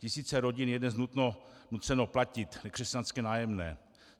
Tisíce rodin je dnes nuceno platit nekřesťanské nájemné.